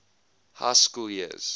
high school years